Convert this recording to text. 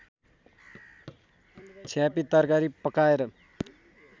छ्यापी तरकारी पकाएर